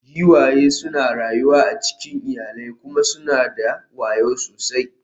Giwaye suna rayuwa a cikin iyalai kuma suna da wayo sosai.